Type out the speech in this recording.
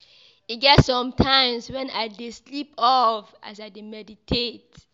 E get some times wen I dey sleep off as I dey meditate.